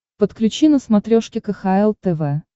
подключи на смотрешке кхл тв